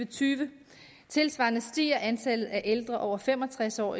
tyve tilsvarende stiger antallet af ældre over fem og tres år